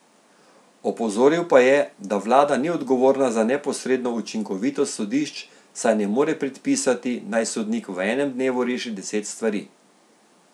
Opozoril pa je, da vlada ni odgovorna za neposredno učinkovitost sodišč, saj ne more predpisati, naj sodnik v enem dnevu reši deset stvari.